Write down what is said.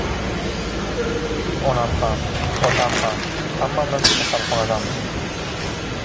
Onam ham, otam ham hammamiz kasalxonadamiz.